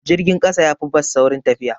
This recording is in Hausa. Jirgin ƙasa yafi bas saurin tafiya.